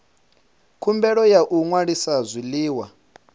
khumbelo ya u ṅwalisa zwiḽiwa